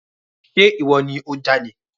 Ṣe ìwọ ni o jalè?